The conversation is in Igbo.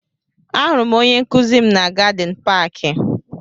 Ahụrụ m onye nkụzi m na Gadin paaki.